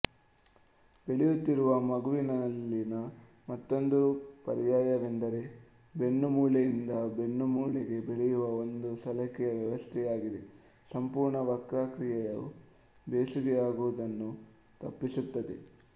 ಬೆಳೆಯುತ್ತಿರುವ ಮಗುವಿನಲ್ಲಿನ ಮತ್ತೊಂದು ಪರ್ಯಾಯವೆಂದರೆ ಬೆನ್ನುಮೂಳೆಯಿಂದ ಬೆನ್ನುಮೂಳೆಗೆ ಬೆಳೆಯುವ ಒಂದು ಸಲಾಕೆಯ ವ್ಯವಸ್ಥೆಯಾಗಿದ್ದು ಸಂಪೂರ್ಣ ವಕ್ರಾಕೃತಿಯು ಬೆಸುಗೆಯಾಗುವುದನ್ನು ತಪ್ಪಿಸುತ್ತದೆ